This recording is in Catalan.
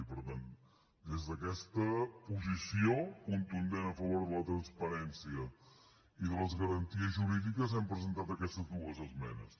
i per tant des d’aquesta posició contundent a favor de la transparència i de les garanties jurídiques hem presentat aquestes dues esmenes